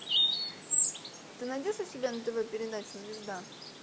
ты найдешь у себя на тв передачу звезда